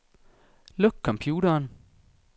Luk computeren.